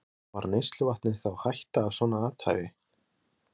Hafsteinn Hauksson: Stafar neysluvatni þá hætta af svona athæfi?